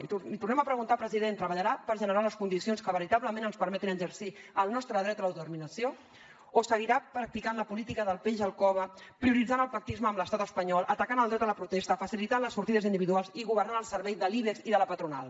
i l’hi tornem a preguntar president treballarà per generar les condicions que veritablement ens permetin exercir el nostre dret a l’autodeterminació o seguirà practicant la política del peix al cove prioritzant el pactisme amb l’estat espanyol atacant el dret a la protesta facilitant les sortides individuals i governant al servei de l’ibex i de la patronal